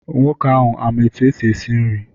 Nwoke ahụ ama etu esi nri?